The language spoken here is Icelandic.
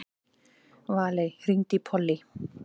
Valey, hringdu í Pollý.